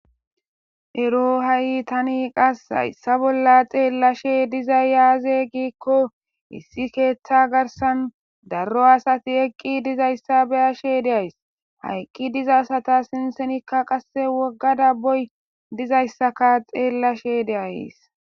ero ha7i tani qas hayssa bolla xeellashe diza yaaze giikko issi keeththa garsan darro asati eqqi dizayssa beyashe de'ays hayqqi diza sata sinsenikka qasse woggadabboy dizayssaka xeellashe deays